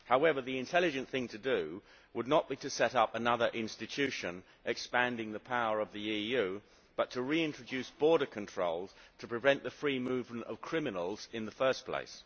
However, the intelligent thing to do would not be to set up another institution expanding the power of the EU, but to reintroduce border controls to prevent the free movement of criminals in the first place.